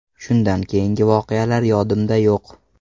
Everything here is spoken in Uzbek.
Shundan keyingi voqealar yodimda yo‘q.